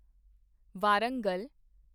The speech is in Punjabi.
ਵਾਰੰਗਲ